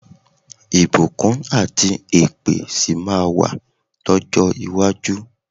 Ìbùkún àti èpè sì máa wà lọ́jọ́ iwájú.